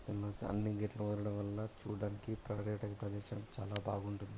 అన్ని గేట్లు పారడం వల్ల చూడడానికి పర్యటన ప్రదేశం చాలా బాగుంటుంది.